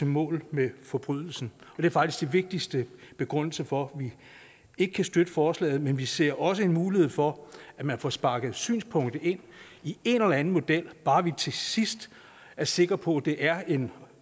mål med forbrydelsen det er faktisk den vigtigste begrundelse for at vi ikke kan støtte forslaget men vi ser også en mulighed for at man får sparket synspunktet ind i en eller anden model bare vi til sidst er sikre på at det er en